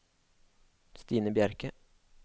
Stine Bjerke